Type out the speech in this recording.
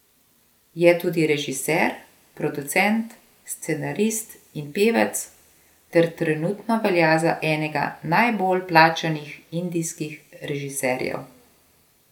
Je tudi režiser, producent, scenarist in pevec ter trenutno velja za enega najbolj plačanih indijskih režiserjev.